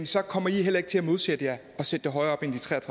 så kommer i heller ikke til at modsætte jer at sætte det højere